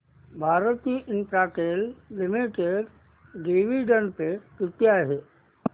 Bharti Infratel limited dividend pay किती आहे